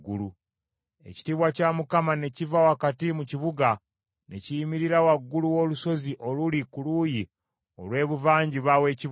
Ekitiibwa kya Mukama ne kiva wakati mu kibuga ne kiyimirira waggulu w’olusozi oluli ku luuyi olw’ebuvanjuba w’ekibuga.